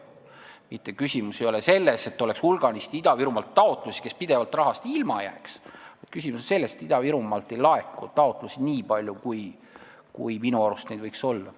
Küsimus ei ole selles, et Ida-Virumaalt oleks hulganisti taotlusi, mis pidevalt rahast ilma jääks, vaid küsimus on selles, et Ida-Virumaalt ei laeku taotlusi nii palju, kui neid minu arust olla võiks.